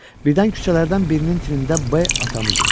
Birdən küçələrdən birinin tinində B atamı görür.